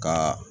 Ka